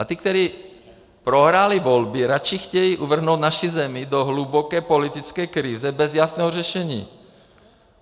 A ti, kteří prohráli volby, radši chtějí uvrhnout naši zemi do hluboké politické krize bez jasného řešení.